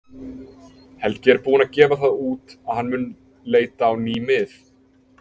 Helgi er búinn að gefa það út að hann mun leita á ný mið.